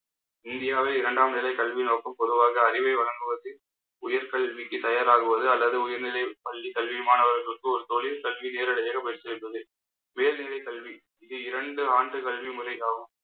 இந்தியாவை இரண்டாம் நிலை கல்வி நோக்கம் பொதுவாக அறிவை வழங்குவதில் உயர் கல்விக்கு தயாராகுவது, அல்லது உயர்நிலை பள்ளி கல்வி மாணவர்களுக்கு ஒரு தொழில் கல்வி நேரடியாக போய் சேர்வது மேல்நிலை கல்வி இது இரண்டு ஆண்டு கல்வி முறையாகும்